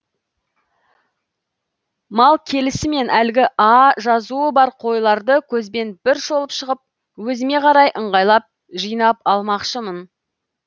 мал келісімен әлгі а жазуы бар қойларды көзбен бір шолып шығып өзіме қарай ыңғайлап жыйнап алмақшымын